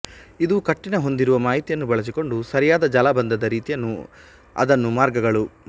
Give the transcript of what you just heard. ಇದು ಕಟ್ಟಿನ ಹೊಂದಿರುವ ಮಾಹಿತಿಯನ್ನು ಬಳಸಿಕೊಂಡು ಸರಿಯಾದ ಜಾಲಬಂಧದ ರೀತಿಯನ್ನು ಅದನ್ನು ಮಾರ್ಗಗಳು